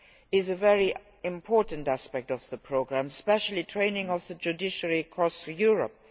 is a very important aspect of the programme, especially training of the judiciary across Europe.